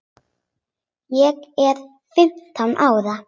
Ég er fimmtán ára.